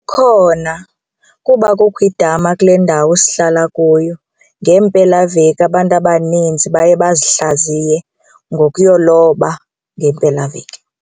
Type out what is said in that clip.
Khona kuba kukho idama kule ndawo sihlala kuyo ngeempelaveki abantu abaninzi baye bazihlaziye ngokuyoloba ngeempelaveki.